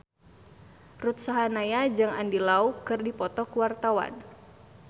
Ruth Sahanaya jeung Andy Lau keur dipoto ku wartawan